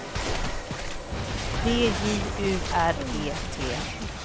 D J U R E T